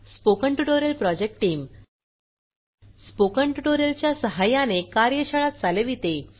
spoken tutorial project team spoken tutorial च्या सहाय्याने कार्यशाळा चालविते